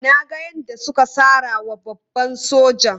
Na ga yadda suka sara wa babban sojan.